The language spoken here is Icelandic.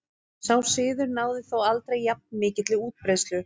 Sá siður náði þó aldrei jafn mikilli útbreiðslu.